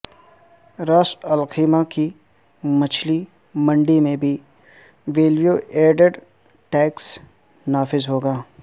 راس Al Khaimah کی مچھلی منڈی میں بھی ویلیو ایڈڈ ٹیکس نافذ ہوگا